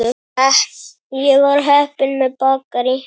Ég var heppin með bakarí.